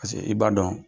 Paseke i b'a dɔn